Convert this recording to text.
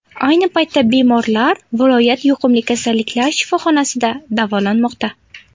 Ayni paytda bemorlar viloyat yuqumli kasalliklar shifoxonasida davolanmoqda.